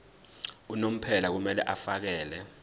unomphela kumele afakele